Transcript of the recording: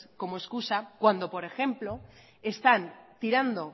como excusa cuando por ejemplo están tirando